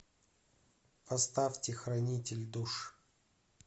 поставьте хранитель душ